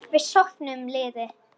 Við söfnum liði.